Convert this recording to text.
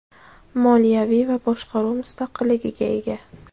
moliyaviy va boshqaruv mustaqilligiga ega.